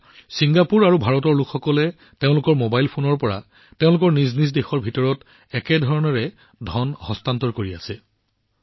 এতিয়া ছিংগাপুৰ আৰু ভাৰতৰ লোকসকলে তেওঁলোকৰ মোবাইল ফোনৰ পৰা তেওঁলোকৰ নিজ নিজ দেশৰ দৰে একেধৰণে ধন স্থানান্তৰ কৰি আছে